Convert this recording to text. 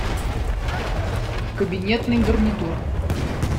кабинетный гарнитур